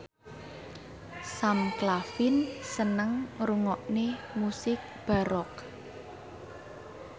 Sam Claflin seneng ngrungokne musik baroque